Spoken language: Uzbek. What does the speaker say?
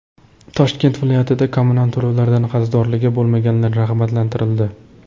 Toshkent viloyatida kommunal to‘lovlardan qarzdorligi bo‘lmaganlar rag‘batlantirildi.